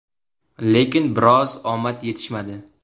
Lekin biroz omad yetishmadi.